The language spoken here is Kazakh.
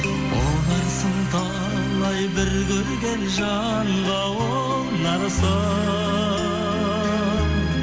ұнарсың талай бір көрген жанға ұнарсың